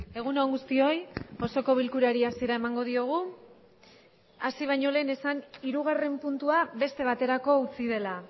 egun on guztioi osoko bilkurari hasiera emango diogu asi bañolen esan irugarren puntua beste baterako utzi dela